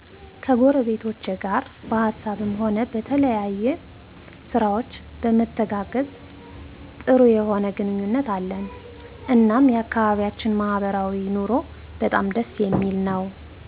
ከጎረቤቶቼ ጋር በሀሳብም ሆነ በተለያየ ስራዎች በመተጋገዝ ጥሩ የሆነ ግንኙነት አለን እናም የአከባቢያችን ማህበራዊ ኑሮ በጣም ደስ የሚል ነወ።